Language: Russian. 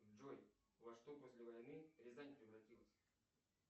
джой во что после войны рязань превратилась